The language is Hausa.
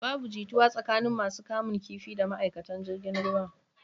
Babu jituwa tsakanin masu kamun kifi da ma'aikatan jirgin ruwan.